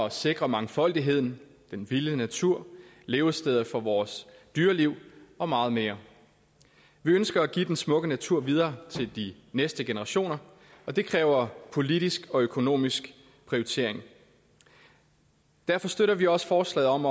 at sikre mangfoldigheden den vilde natur levesteder for vores dyreliv og meget mere vi ønsker at give den smukke natur videre til de næste generationer og det kræver politisk og økonomisk prioritering derfor støtter vi også forslaget om